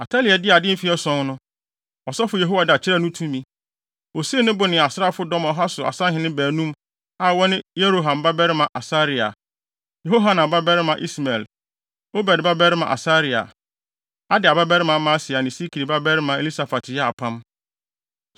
Atalia dii ade mfe ason no, ɔsɔfo Yehoiada kyerɛɛ no tumi. Osii ne bo ne asraafodɔm ɔha so asahene baanum, a wɔne Yeroham babarima Asaria, Yehohanan babarima Ismael, Obed babarima Asaria, Adaia babarima Maaseia ne Sikri babarima Elisafat yɛɛ apam.